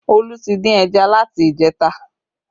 Olu tí dín ẹja láti ìjẹta